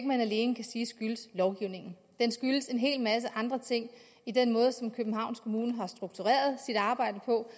man alene kan sige skyldes lovgivningen det skyldes en hel masse andre ting i den måde som københavns kommune har struktureret sit arbejde på